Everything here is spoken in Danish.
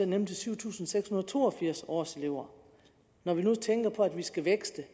nemlig til syv tusind seks hundrede og to og firs årselever når man tænker på at vi skal vækste